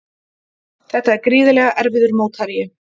Þetta er gríðarlega erfiður mótherji